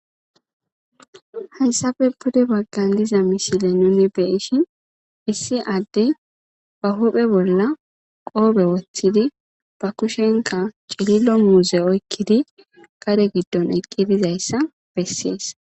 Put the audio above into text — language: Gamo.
hayssafe bude baggan diza mishile nuni beishi issi adde ba huphe bolla qoobe wothidi ba kushenka cilillo muuze oykkidi qare giddon eqqidizayssa bessees